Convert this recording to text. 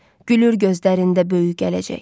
Gülür gözlərində böyük gələcək.